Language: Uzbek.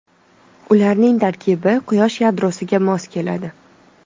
Ularning tarkibi Quyosh yadrosiga mos keladi.